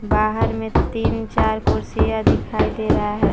बाहर में तीन चार कुर्सियां दिखाई दे रहा है।